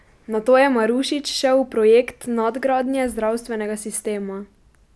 Nato je Marušič šel v projekt nadgradnje zdravstvenega sistema.